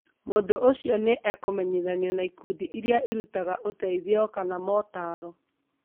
Mũndũ ũcio nĩ ekũmenyithanio na ikundi iria irutaga uteithio kana maũtaaro.